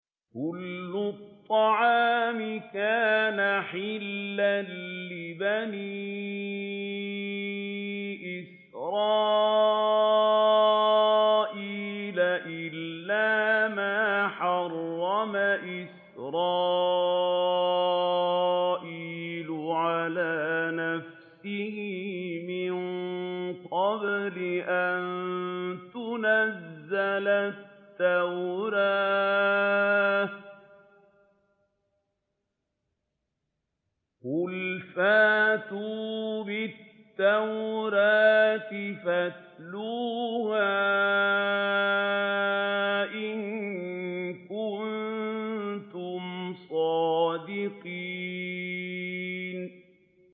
۞ كُلُّ الطَّعَامِ كَانَ حِلًّا لِّبَنِي إِسْرَائِيلَ إِلَّا مَا حَرَّمَ إِسْرَائِيلُ عَلَىٰ نَفْسِهِ مِن قَبْلِ أَن تُنَزَّلَ التَّوْرَاةُ ۗ قُلْ فَأْتُوا بِالتَّوْرَاةِ فَاتْلُوهَا إِن كُنتُمْ صَادِقِينَ